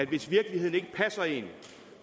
hvis virkeligheden ikke passer en